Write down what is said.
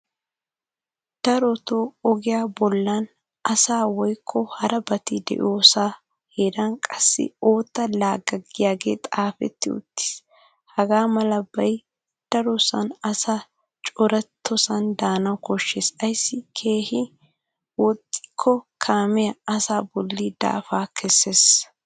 Darotoo ogiya bollan asay woykko harabati de'iyosaa heeran qassi ootta laagga giyagee xaafetti uttis. Hagaa malabay darosan asay corattiyoosan daana koshshes ayssi keehin woxxikko kaamee asaa bolli dafaa kesses.